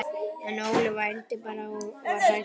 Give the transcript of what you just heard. En Óli vældi bara og var hræddur.